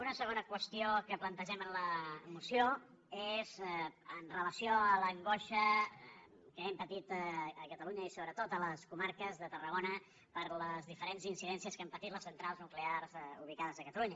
una segona qüestió que plantegem en la moció és amb relació a l’angoixa que hem patit a catalunya i sobretot a les comarques de tarragona per les diferents incidències que han patit les centrals nuclears ubicades a catalunya